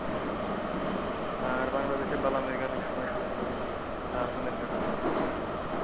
আর বাংলাদেশের এর জ্ঞান এক সময় শুনতাম এর গান শুনতাম শুনি,